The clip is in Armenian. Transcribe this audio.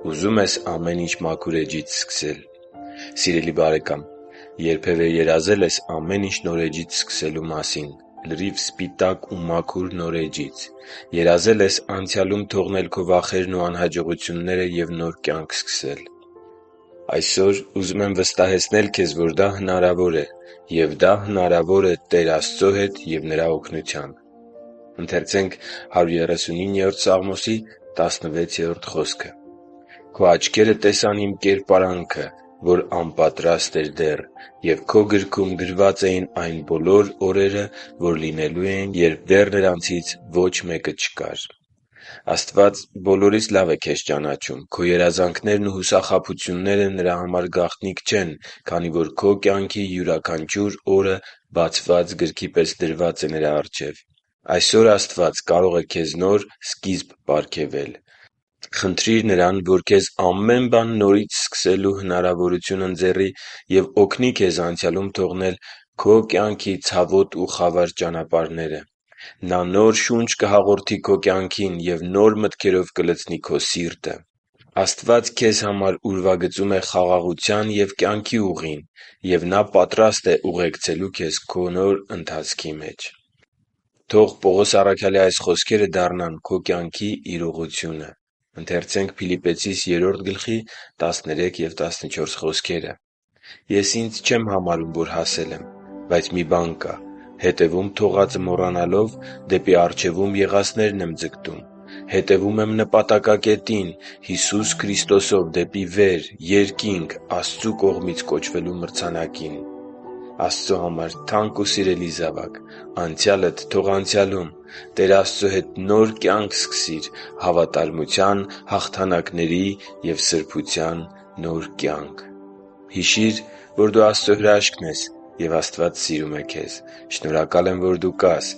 Ուզու՞մ ես ամեն ինչ մաքուր էջից սկսել․․․ Սիրելի՛ բարեկամ, երբևէ երազե՞լ ես ամեն ինչ նորից սկսելու մասին՝ լրիվ սպիտակ ու մաքուր նոր էջից: Երազե՞լ ես անցյալում թողնել քո վախերն ու անհաջողությունները և նոր կյանք սկսել: Այսօր ուզում եմ վստահեցնել քեզ, որ դա հնարավոր է։ Եվ դա հնարավոր է Տեր Աստծո հետ և Նրա օգնությամբ։ «Քո աչքերը տեսան իմ կերպարանքը, որ անպատրաստ էր դեռ, և Քո գրքում գրված էին այն բոլոր օրերը, որ լինելու էին, երբ դեռ նրանցից ոչ մեկը չկար» (Սաղմոս 139.16)։ Աստված բոլորից լավ է քեզ ճանաչում: Քո երազանքներն ու հուսախաբությունները Նրա համար գաղտնիք չեն, քանի որ քո կյանքի յուրաքանչյուր օրը բացված գրքի պես դրված է Նրա առջև: Այսօր Աստված կարող է քեզ նոր սկիզբ պարգևել։ Խնդրի՛ր Նրան, որ քեզ ամեն բան նորից սկսելու հնարավորություն ընձեռի և օգնի քեզ անցյալում թողնել քո կյանքի ցավոտ ու խավար ճանապարհները։ Նա նոր շունչ կհաղորդի կյանքին և նոր մտքերով կլցնի քո սիրտը: Աստված քեզ համար ուրվագծում է խաղաղության և կյանքի ուղին։ Եվ Նա պատրաստ է ուղեկցելու քեզ քո նոր ընթացքի մեջ: Թող Պողոս առաքյալի այս խոսքերը դառնան քո կյանքի իրողությունը. «Ես ինձ չեմ համարում, որ հասել եմ, բայց մի բան կա. հետևում թողածը մոռանալով՝ դեպի առջևում եղածներն եմ ձգտում։ Հետևում եմ նպատակակետին՝ Հիսուս Քրիստոսով դեպի վեր՝ երկինք՝ Աստծու կողմից կոչվելու մրցանակին» (Փիլիպպեցիս 3.13-14)։ Աստծո համար թանկ ու սիրելի՛ զավակ, անցյալդ թո՛ղ անցյալում։ Տեր Աստծո հետ նոր կյանք սկսի՛ր՝ հավատարմության, հաղթանակների և սրբության նոր կյանք․․․ Հիշի՛ր, որ դու Աստծո հրաշքն ես, և Աստված սիրում է քեզ։ Շնորհակալ եմ, որ դու կա՛ս